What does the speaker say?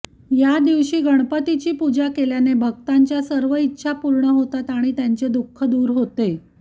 या दिवशी गणपतीची पूजा केल्याने भक्तांच्या सर्व इच्छा पूर्ण होतात आणि त्यांचे दुःख दूर होते